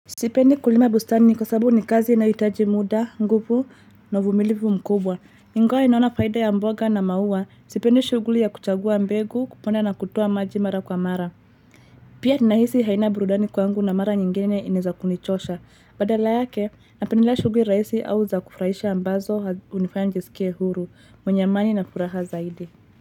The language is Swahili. Sipendi kulima bustani kwa sababu ni kazi inayohitaji muda, nguvu, na uvumilivu mkubwa. Ingawa naona faida ya mboga na maua, sipendi shughuli ya kuchagua mbegu kupanda na kutoa maji mara kwa mara. Pia ninahisi haina burudani kwangu na mara nyingine inaeza kunichosha. Badala yake, napendelea shughuli rahisi au za kufurahisha ambazo hhunifaya nijisikie huru, mwenye amani na furaha zaidi.